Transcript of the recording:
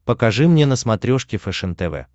покажи мне на смотрешке фэшен тв